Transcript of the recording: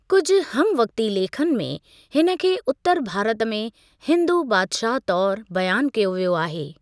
कुझि हमवक्ती लेखन में, हिन खे उत्तर भारत में हिंदू बादशाह तौरु बयान कयो वियो आहे।